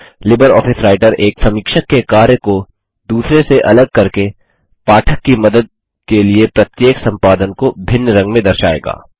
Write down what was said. LibreOffice Writer एक समीक्षक के कार्य को दूसरे से अलग करके पाठक की मदद के लिए प्रत्येक संपादन को भिन्न रंग में दर्शाएगा